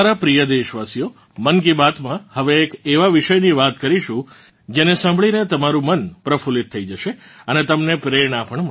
મારાં પ્રિય દેશવાસીઓ મન કી બાત માં હવે એક એવાં વિષયની વાત કરીશું જને સાંભળીને તમારું મન પ્રફુલ્લિત થઇ જશે અને તમને પ્રેરણા પણ મળશે